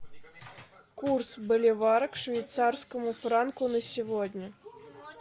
курс боливара к швейцарскому франку на сегодня